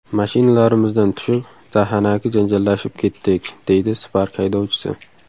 Mashinalarimizdan tushib, dahanaki janjallashib ketdik”, deydi Spark haydovchisi.